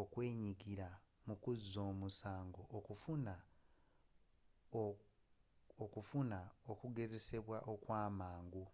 okwenyigira mukuzza omusango okufuna okugezesebwa okwamangu